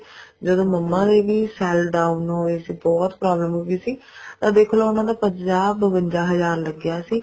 ਜਦੋਂ ਮੰਮਾ ਦੇ ਵੀ cell down ਹੋਏ ਸੀ ਬਹੁਤ problem ਹੋਈ ਸੀ ਤਾਂ ਦੇਖਲੋ ਉਹਨਾ ਦਾ ਪੰਜਾਹ ਬਵੰਜਾ ਹਜ਼ਾਰ ਲੱਗਿਆ ਸੀ